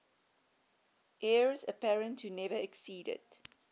heirs apparent who never acceded